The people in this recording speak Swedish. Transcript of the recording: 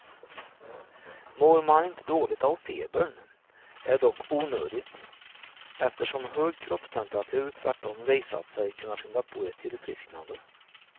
Mår man inte dåligt av febern är det dock onödigt, eftersom hög kroppstemperatur tvärtom visat sig kunna skynda på ett tillfrisknande.